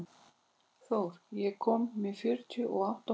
Þór, ég kom með fjörutíu og átta húfur!